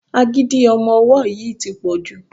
Agídí ọmọ ọwọ́ yìí tí pọ̀ jù.